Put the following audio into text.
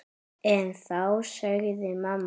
En þá sagði mamma